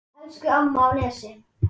Jæja, segjum það.